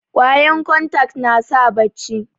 kwayan kontak nasa bacci